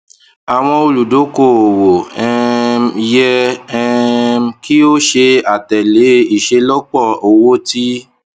awọn oludokoowo um yẹ um ki o ṣe atẹle iṣelọpọ owo ti